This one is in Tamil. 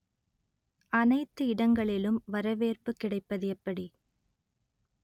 அனைத்து இடங்களிலும் வரவேற்பு கிடைப்பது எப்படி